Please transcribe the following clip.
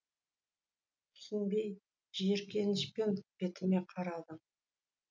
түсінбей жиіркенішпен бетіне қарадым